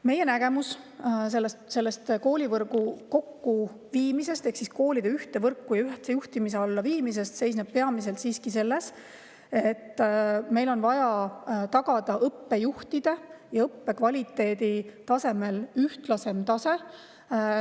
Meie nägemus koolivõrgu ehk koolide ühte võrku ja ühtse juhtimise alla viimisest seisneb peamiselt selles, et meil on vaja tagada õppejuhtide ja õppe kvaliteedi ühtlasem tase.